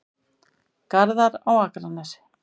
Garðar á Akranesi.